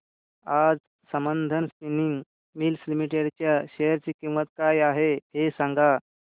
आज Sambandam spinning mills limited च्या share ची किंमत काय आहे हे सांगा